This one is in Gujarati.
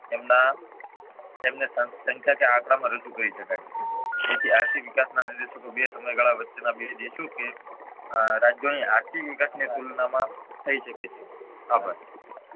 તેમના તેમને સંખ્યા કે આંકડા માં રજુ કરી શકાય તેથી આર્થિક વિકાસ ના નિદર્શકો બે સમયગાળા વચ્ચે ના બે દેશો કે રાજ્યો ની આર્થિક વિકાસની તુલનામાં થઇ શકે છે